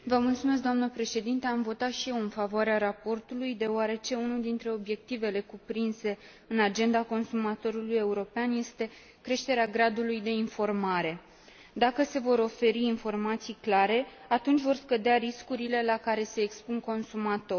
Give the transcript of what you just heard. Am votat și eu în favoarea raportului, deoarece unul dintre obiectivele cuprinse în Agenda consumatorului european este creșterea gradului de informare. Dacă se vor oferi informații clare, atunci vor scădea riscurile la care se expun consumatorii.